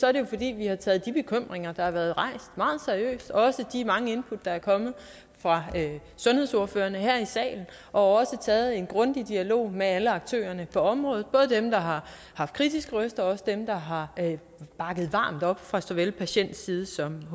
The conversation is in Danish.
er det fordi vi har taget de bekymringer der har været rejst meget seriøst og også de mange input der er kommet fra sundhedsordførerne her i salen og taget en grundig dialog med alle aktørerne på området både dem der har haft kritiske røster og dem der har bakket varmt op fra såvel patientside som